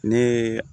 Ne